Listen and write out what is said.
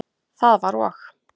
Það var og.